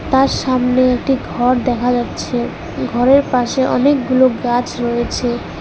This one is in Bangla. তার সামনে একটি ঘর দেখা যাচ্ছে ঘরের পাশে অনেকগুলো গাছ রয়েছে।